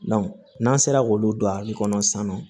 n'an sera k'olu don a bɛ kɔnɔ san nɔ